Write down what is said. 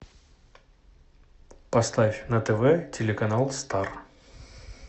поставь на тв телеканал стар